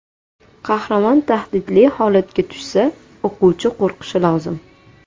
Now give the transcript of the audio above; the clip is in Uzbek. Qahramon tahdidli holatga tushsa, o‘quvchi qo‘rqishi lozim.